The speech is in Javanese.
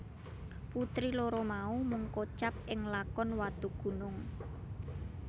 Putri loro mau mung kocap ing lakon Watugunung